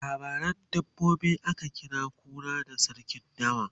a labaran dabbobi akan kira kura da sarkin dawa